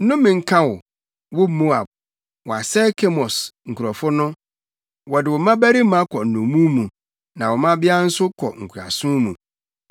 Nnome nka wo, wo Moab! Wɔasɛe Kemos nkurɔfo no; wɔde wo mmabarima kɔ nnommum mu na wo mmabea nso kɔ nkoasom mu.